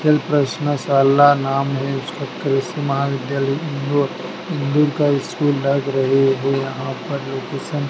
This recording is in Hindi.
चल प्रश्न शाला नाम है उसका करिश्मा विद्यालय इंदौर दूर का स्कूल लग रही है यहां पर लोकेशन --